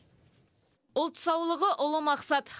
ұлт саулығы ұлы мақсат